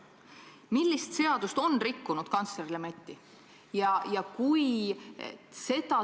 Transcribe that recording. Millist seadust on rikkunud kantsler Lemetti?